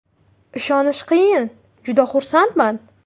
Ishonish qiyin, juda xursandman.